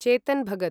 Chetan Bhagat